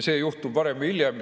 See juhtub varem või hiljem.